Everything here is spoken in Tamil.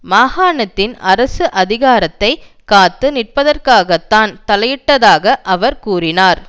மாகாணத்தின் அரசு அதிகாரத்தை காத்து நிற்பதற்காகத்தான் தலையிட்டதாக அவர் கூறினார்